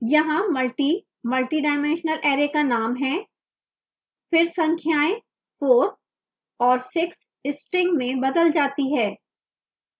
यहाँ multi multidimensional array का name है